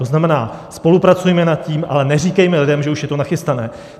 To znamená, spolupracujme nad tím, ale neříkejme lidem, že už je to nachystané.